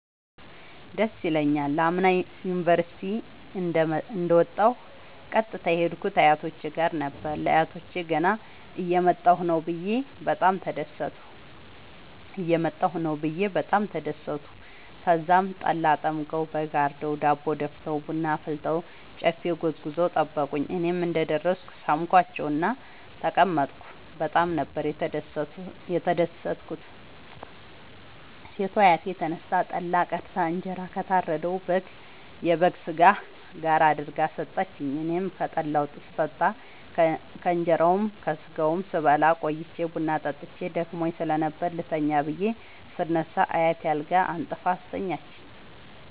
ደስ ይለኛል። አምና ዩኒቨርሢቲ እንደ ወጣሁ ቀጥታ የሄድኩት አያቶቼ ጋር ነበር። ለአያቶቸ ገና እየመጣሁ ነዉ ብየ በጣም ተደሠቱ። ተዛም ጠላ ጠምቀዉ በግ አርደዉ ዳቦ ደፍተዉ ቡና አፍልተዉ ጨፌ ጎዝጉዘዉ ጠበቁኝ። እኔም እንደ ደረስኩ ሣምኳቸዉእና ተቀመጥኩ በጣም ነበር የተደትኩት ሴቷ አያቴ ተነስታ ጠላ ቀድታ እንጀራ ከታረደዉ የበግ ስጋ ጋር አድርጋ ሠጠችኝ። አኔም ከጠላዉም ስጠጣ ከእንራዉና ከስጋዉም ስበላ ቆይቼ ቡና ጠጥቼ ደክሞኝ ስለነበር ልተኛ ብየ ስነሳ አያቴ አልጋ አንጥፋ አስተኛችኝ።